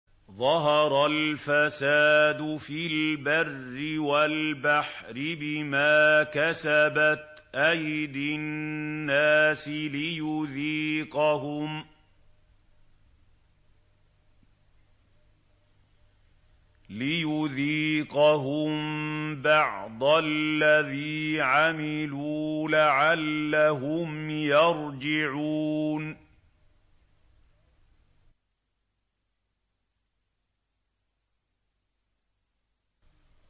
ظَهَرَ الْفَسَادُ فِي الْبَرِّ وَالْبَحْرِ بِمَا كَسَبَتْ أَيْدِي النَّاسِ لِيُذِيقَهُم بَعْضَ الَّذِي عَمِلُوا لَعَلَّهُمْ يَرْجِعُونَ